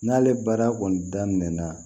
N'ale baara kɔni daminɛna